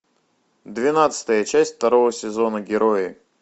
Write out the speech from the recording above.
двенадцатая часть второго сезона герои